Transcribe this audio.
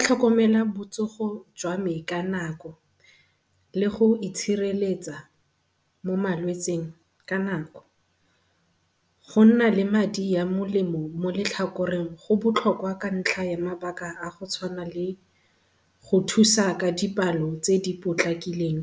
Tlhokomela botsogo jwa me ka nako le go itshireletsa mo malwetsing ka nako. Go nna le madi a molemo mo letlhakoreng go botlhokwa ka ntlha ya mabaka a a go tshwana le go thusa ka dipalo tse di potlakileng